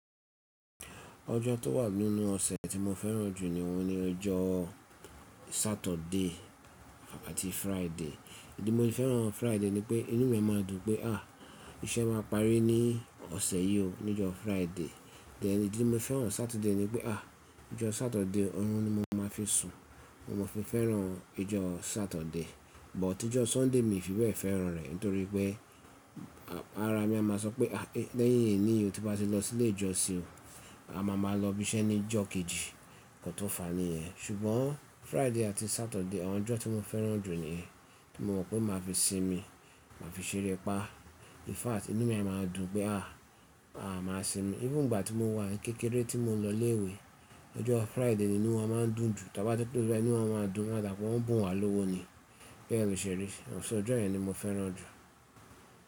Ọjọ́ tó wà nínú ọ̀sẹ̀ tí mo fẹ́ràn jù ní oun ni ọjọ́ Saturday àti Friday. Ìdí mo fi fẹ́ràn Friday nipé inú mi a máa dùn pé à íṣẹ máa parí ní ọ̀sẹ̀ yìí ó ní ọjọ́ Friday. Then ìdí mo fẹ́ràn Saturday nipé à ọjọ́ Saturday ọ̀run ni mo máa fi sùn. Mo fi fẹ́ràn ọjọ́ Saturday. Bù tí ọjọ́ Sunday mi fi bẹ̀ fẹ́ràn rẹ̀ nítorí pé ara mi a máa sọ pé à lẹ́yìn ẹni yi o tí bá ti lọ sí ilé ìjọsìn o, a máa ma lọ bísẹ́ ní ọjọ́ kejì. Nkan tó fàní ẹ. Ṣùgbọ́n Friday àti Saturday, àwọn ọjọ́ tí mo fẹ́ràn jù niyen ti mo mọ̀ pé màá fi sinmi, màá fi ṣeré pá. In fact inú mi a máa dùn pé à a máa sinmi. Even ìgbà tí mo wà ní kékeré tí mò ń lọ ilé ìwé, ọjọ́ Friday ni inú wa máa ń dùn jù. Tí a bá ti close bai inú wa máa ń dùn, à dà pé wọ́n bù wá lówó ni. Bẹ́ẹ̀ ni ó ṣe rí. Ṣo ọjọ́ yẹ̀n ni mo fẹ́ràn jù.